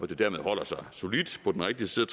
det dermed holder sig solidt på den rigtige side